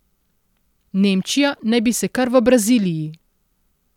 Nemčija naj bi se kar v Braziliji.